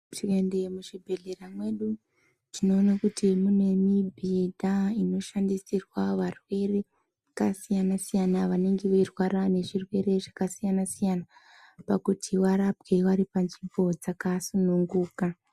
Tikaende muzvi bhedhlera mwedu tinoona kuti mune mibhedha inoshandisirwa varwere vaka siyana siyana vanenge veirwara nezvirwere zvaka siyana siyana pakuti varapwe vari panzvimbo dzakasununguka .